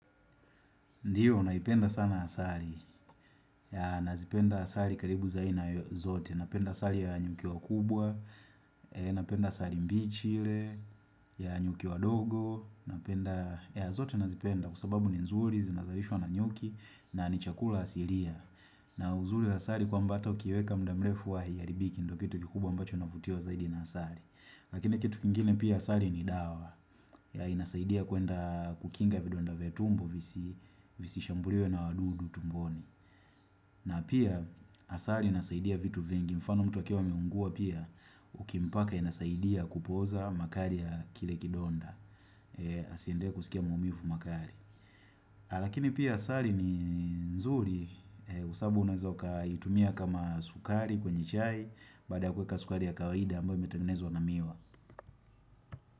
Ndiyo, naipenda sana asali, ya nazipenda asali karibu za aina zote, napenda asali ya nyuki wa kubwa, napenda asali mbi chi ile, ya nyuki wa dogo, napenda, ya zote nazipenda kwa sababu ni nzuri, zinazarishwa na nyuki, na ni chakula asiria. Na uzuri asali kwa mba ata ukiweka mdamrefu huwa hairibiki ndo kitu kikubwa ambacho navutiwa zaidi na asali Lakini kitu kingine pia asali ni dawa ya inasaidia kuenda kukinga vidonda vya tumbo visi shambuliwe na wadudu tumboni na pia asali inasaidia vitu vingi mfano mtu akiwa ameungua pia Ukimpaka inasaidia kupoza makali ya kile kidonda Asiendelee kusikia maumivu makali lakini pia asali ni nzuri, sababu unaeza ukaitumia kama sukari kwenye chai, baada kuweka sukari ya kawaida ambayo imetengenezwa na miwa.